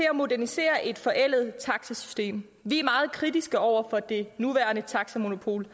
at modernisere et forældet taxasystem vi er meget kritiske over for det nuværende taxamonopol